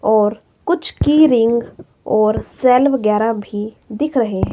और कुछ की रिंग और सेल वगैरा भी दिख रहे--